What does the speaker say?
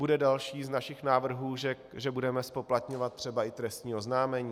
Bude další z našich návrhů, že budeme zpoplatňovat třeba i trestní oznámení.